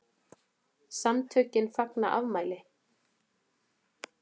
SAMTÖKIN FAGNA AFMÆLI